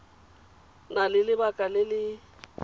na le lebaka le le